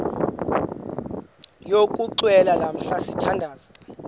yokuxhelwa lamla sithandazel